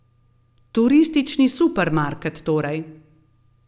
Turistični supermarket, torej.